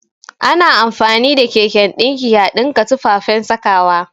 Ana amfani da keken ɗinki a ɗinka tufafen sakawa